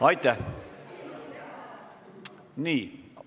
Aitäh!